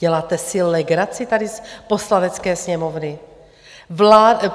Děláte si legraci tady z Poslanecké sněmovny?